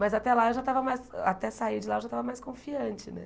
Mas até lá eu já estava mais, até sair de lá eu já estava mais confiante, né?